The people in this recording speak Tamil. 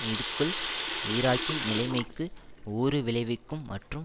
இது க்குள் ஈராக்கின் நிலைமைக்கு ஊறு விளைவிக்கும் மற்றும்